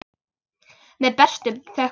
Með bestu þökkum.